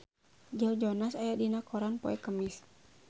Joe Jonas aya dina koran poe Kemis